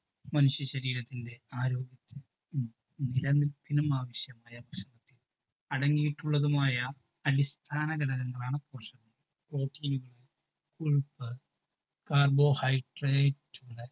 മനുഷ്യശരീരത്തിൻ്റെ ആരോഗ്യത്തിനും നിലനിൽപിനും ആവിശ്യമായ ഭക്ഷണത്തിൽ അടങ്ങീട്ടുള്ളതുമായ അടിസ്ഥാന ഘടകങ്ങളാണ് പോഷകങ്ങൾ protein കൊഴുപ്പ് carbohydrate